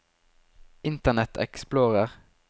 internet explorer